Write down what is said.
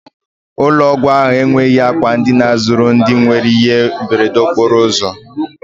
Ụlọ ọgwụ ahụ enweghị àkwà ndina zuru ndị nwere ihe mberede okporo ụzọ.